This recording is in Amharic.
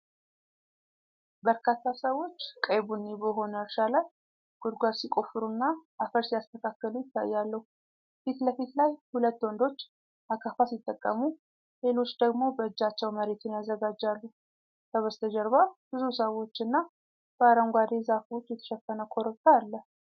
በርካታ ሰዎች ቀይ ቡኒ በሆነ እርሻ ላይ ጉድጓድ ሲቆፍሩና አፈር ሲያስተካክሉ ይታያሉ። የፊት ለፊት ላይ ሁለት ወንዶች አካፋ ሲጠቀሙ፣ ሌሎች ደግሞ በእጃቸው መሬቱን ያዘጋጃሉ። ከበስተጀርባ ብዙ ሰዎች እና በአረንጓዴ ዛፎች የተሸፈነ ኮረብታ አለ።